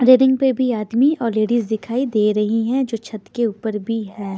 Ring पे भी आदमी और लेडीज दिखाई दे रही हैं जो छत के ऊपर भी है।